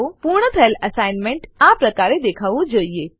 પૂર્ણ થયેલ એસાઈનમેંટ આ પ્રકારે દેખાવું જોઈએ